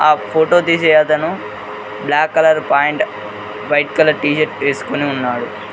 ఆ ఫోటో తీసే అతను black colour pant white colour T shirt వేసుకుని ఉన్నాడు.